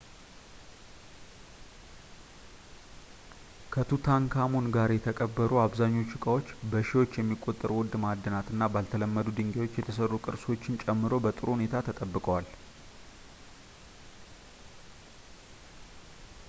ከቱታንካሙን ጋር የተቀበሩ አብዛኛዎቹ ዕቃዎች በሺዎች የሚቆጠሩ ውድ ማዕድናት እና ባልተለመዱ ድንጋዮች የተሰሩ ቅርሶችን ጨምሮ በጥሩ ሁኔታ ተጠብቀዋል